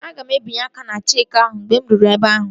Ọ ga-ebinye aka ná cheeki ahụ mgbe ị ruru ebe ahụ